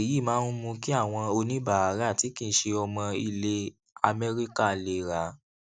èyí máa ń mú kí àwọn oníbàárà tí kì í ṣe ọmọ ilè améríkà lè ra